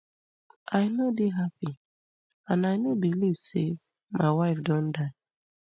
i no dey happy and i no believe say my wife don die